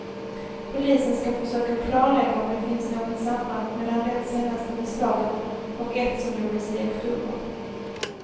Polisen ska försöka klarlägga om det finns något samband mellan det senaste beslaget och ett som gjordes i oktober.